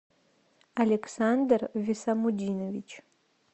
александр висамудинович